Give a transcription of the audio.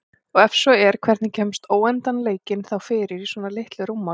Og ef svo er hvernig kemst óendanleikinn þá fyrir í svona litlu rúmmáli?